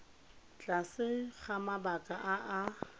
tlase ga mabaka a a